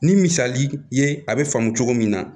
Ni misali ye a bɛ faamu cogo min na